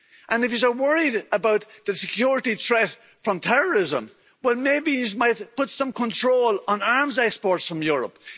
And, if you are worried about the security threat from terrorism, well maybe you might put some control on arms exports from Europe.